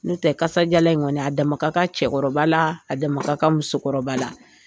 Ntɛ kasajalan in kɔni a dama ka kan cɛkɔrɔba la a dama ka kan musokɔrɔba la